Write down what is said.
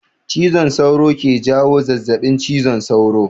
Cizon sauro ke jawo zazabin cizon sauro